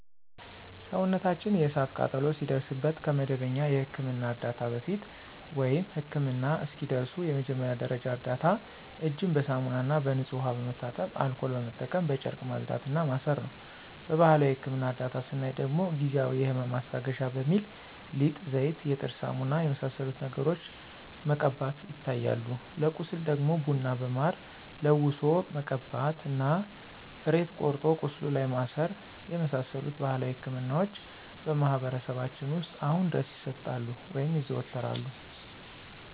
ሰውነታችን የእሳት ቃጠሎ ሲደርስበት ከመደበኛ የሕክምና ዕርዳታ በፊት፣ ወይም ህክምና እስኪደርሱ የመጀመሪያ ደረጃ እርዳታ እጅን በሳሙናና በንጹህ ውሃ በመታጠብ አልኮል በመጠቀም በጨርቅ ማጽዳት እና ማሰር ነው። በባህላዊ የህክምና እርዳታ ስናይ ደግሞ ጊዜአዊ የህመም ማስታገሻ በሚል ሊጥ፣ ዘይት፣ የጥርስ ሳሙና የመሳሰሉትን ነገሮችን መቀባቶች ይታያሉ። ለቁስል ደግሞ ቡና በማር ለውሶ መቀባት እና ሬት ቆርጦ ቁስሉ ላይ ማሰር የመሳሰሉት ባህላዊ ህክምናዎች በማህበረሰባችን ውስጥ አሁንም ድረስ ይሰጣሉ (ይዘወተራሉ)።